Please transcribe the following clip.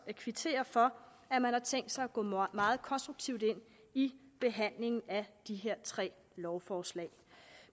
jeg kvittere for at man har tænkt sig at gå meget konstruktivt ind i behandlingen af de her tre lovforslag